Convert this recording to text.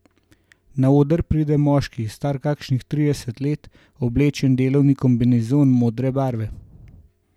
Na oder pride moški, star kakšnih trideset let, oblečen v delovni kombinezon modre barve.